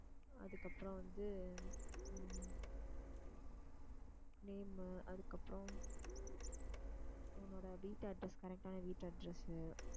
அதுக்கப்புறம் வந்து உம் name மு அதுக்கப்புறம் உன்னோட வீட்டு address correct ஆன வீட்டு address உ